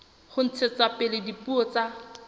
ho ntshetsa pele dipuo tsa